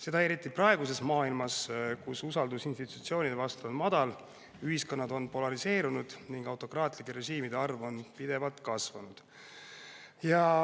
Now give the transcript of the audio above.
Seda eriti praeguses maailmas, kus usaldus institutsioonide vastu on madal, ühiskonnad on polariseerunud ning autokraatlike režiimide arv on pidevalt kasvanud.